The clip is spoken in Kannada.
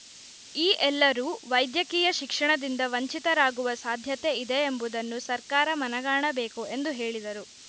ಈ ಎಲ್ಲರೂ ವೈದ್ಯಕೀಯ ಶಿಕ್ಷಣದಿಂದ ವಂಚಿತರಾಗುವ ಸಾಧ್ಯತೆ ಇದೆಯೆಂಬುದನ್ನು ಸರ್ಕಾರ ಮನಗಾಣಬೇಕು ಎಂದು ಹೇಳಿದರು